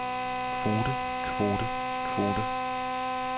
kvote kvote kvote